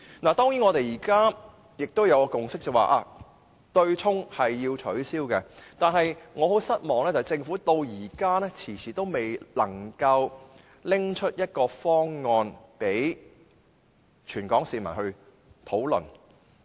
如今大家已有共識，便是要取消對沖，但令我感到失望的是，政府遲遲未能提出一個方案，供全港市民討論。